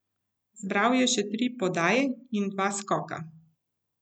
Zbral je še tri podaje in dva skoka.